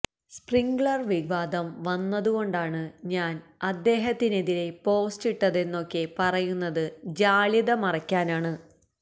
Sprinklr വിവാദം വന്നതുകൊണ്ടാണ് ഞാന് അദ്ദേഹത്തിനെതിരേ പോസ്റ്റ് ഇട്ടതെന്നൊക്കെ പറയുന്നത് ജാള്യത മറയ്ക്കാനാണ്